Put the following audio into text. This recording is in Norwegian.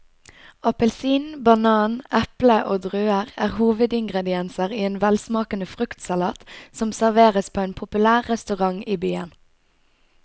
Appelsin, banan, eple og druer er hovedingredienser i en velsmakende fruktsalat som serveres på en populær restaurant i byen.